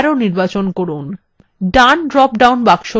down drop down box নির্বাচন করুন none